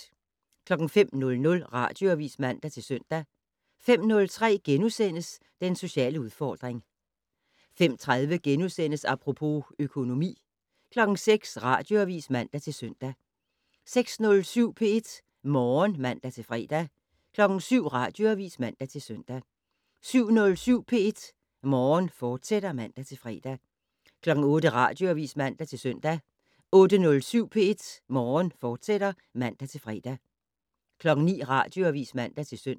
05:00: Radioavis (man-søn) 05:03: Den sociale udfordring * 05:30: Apropos - økonomi * 06:00: Radioavis (man-søn) 06:07: P1 Morgen (man-fre) 07:00: Radioavis (man-søn) 07:07: P1 Morgen, fortsat (man-fre) 08:00: Radioavis (man-søn) 08:07: P1 Morgen, fortsat (man-fre) 09:00: Radioavis (man-søn)